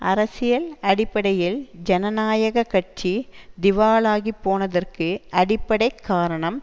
அரசியல் அடிப்படையில் ஜனநாயக கட்சி திவாலாகிப் போனதற்கு அடிப்படை காரணம்